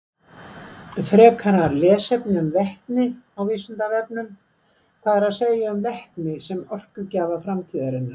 Frekara lesefni um vetni á Vísindavefnum: Hvað er að segja um vetni sem orkugjafa framtíðarinnar?